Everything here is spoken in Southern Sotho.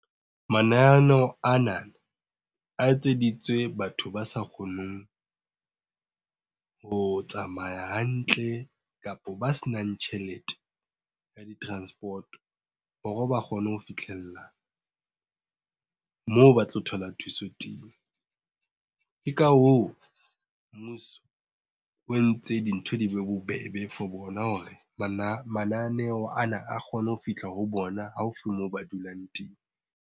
Mananeo ana a etseditswe batho ba sa kgoneng ho tsamaya hantle, kapa ba se nang tjhelete ya di-transport-o hore ba kgone ho fitlhella moo ba tlo thola thuso teng. Ke ka hoo, mmuso o entse dintho di be bobebe for bona hore mananeo ana a kgone ho fihla ho bona haufi moo ba dulang teng.